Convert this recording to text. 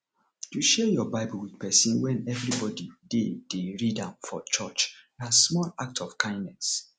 to share your bible with persin when everybody de de read am for church na small act of kindness